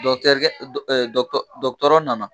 Dɔkitɛrikɛ dɔgɔtɔrɔ nana.